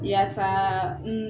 Yasaaa n